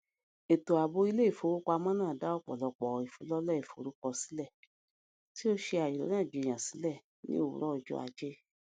ètò ààbò ilé ìfowópamọ náà dá ọpọlọpọ ìfilọlẹ ìforúkọsílẹ tí ó ṣe àríyànjiyàn sílẹ ní òwúrọ ọjọ aje